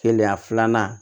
Kelenya filanan